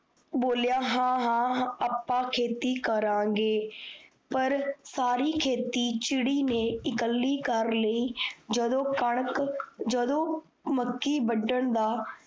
ਬੋਲਿਆ ਹਾਂ ਹਾਂ, ਆਪਾ ਖੇਤੀ ਕਰਾਂਗੇ, ਪਰ ਸਾਰੀ ਖੇਤੀ ਚਿੜੀ ਨੇ ਇਕੱਲੀ ਕਰ ਲਾਇ ਜਦੋ ਕਣਕ ਜਦੋ ਮੱਕੀ ਵੱਢਣ ਦਾ